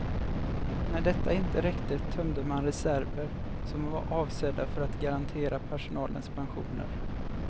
När detta inte räckte tömde man reserver som var avsedda för att garantera personalens pensioner.